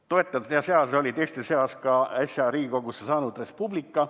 Toetajate seas oli ka äsja Riigikogusse saanud Res Publica.